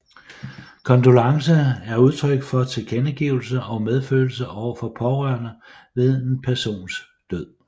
Kondolence er udtryk for tilkendegivelse af medfølelse over for pårørende ved en persons død